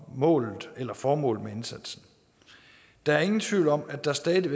målet eller formålet med indsatsen der er ingen tvivl om at der stadig